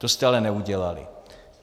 To jste ale neudělali.